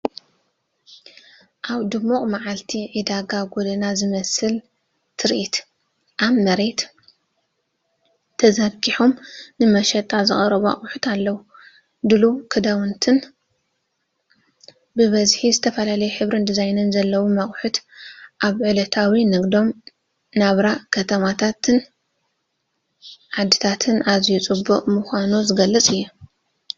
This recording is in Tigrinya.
ኣብ ድሙቕ መዓልቲ ዕዳጋ ጎደና ዝመስል ትርኢ። ኣብ መሬት ተዘርጊሖም ንመሸጣ ዝቐረቡ ኣቑሑት ኣለዉ - ድሉው ክዳውንቲ ብብዝሒ፡ ዝተፈላለየ ሕብርን ዲዛይንን ዘለዎም ኣቑሑት። ኣብ ዕለታዊ ንግዳዊ ናብራ ከተማታትን ዓድታትን ኣዝዮ ፅበቅ ምካኑ ዝገልፅ እዩ።